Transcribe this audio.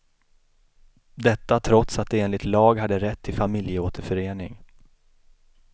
Detta trots att de enligt lag hade rätt till familjeåterförening.